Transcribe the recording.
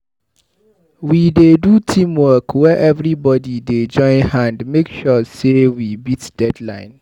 We dey do teamwork were everybodi dey join hand make sure sey we beat deadline.